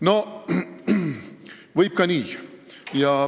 No võib ka nii.